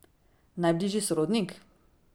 Najbližji sorodnik?